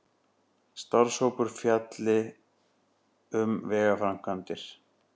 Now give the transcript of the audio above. Starfshópur fjalli um vegaframkvæmdir